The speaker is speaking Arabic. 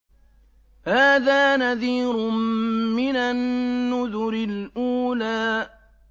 هَٰذَا نَذِيرٌ مِّنَ النُّذُرِ الْأُولَىٰ